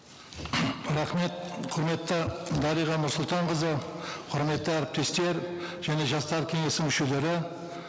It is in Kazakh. рахмет құрметті дариға нұрсұлтанқызы құрметті әріптестер және жастар кеңесі мүшелері